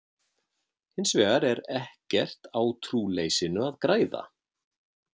Hins vegar er ekkert á trúleysinu að græða.